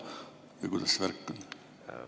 Või kuidas see värk on?